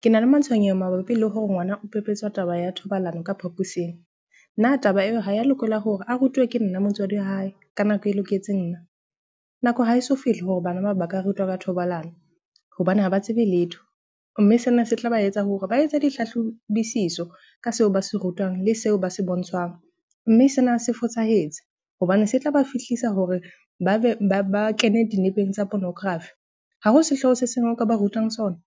Ke na le matshwenyeho mabapi le hore ngwana o pepetswa taba ya thobalano ka phaposing. Na taba eo ha ya lokela hore a rutuwe ke nna motswadi wa hae ka nako e loketseng nna? Nako ha e so fihle hore bana ba ka rutwa ka thobalano hobane ha ba tsebe letho. Mme sena se tla ba etsa hore ba etse dihlahlobisiso ka seo ba se rutwang le seo ba se bontshwang. Mme sena se fosahetse hobane se tla ba fihlisa hore ba be ba kene dinepeng tsa pornography. Ha ho sehloho se seng o ka ba rutang sona.